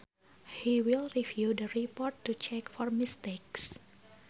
He will review the report to check for mistakes